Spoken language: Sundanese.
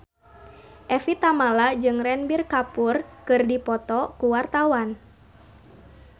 Evie Tamala jeung Ranbir Kapoor keur dipoto ku wartawan